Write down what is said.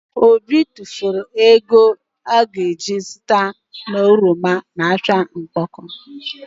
Obi tufulu ego ọ ga ji zụta oroma na ahịa Okpoko